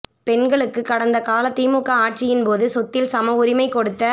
பெண்களுக்கு கடந்த கால திமுக ஆட்சியின்போது சொத்தில் சம உரிமை கொடுத்த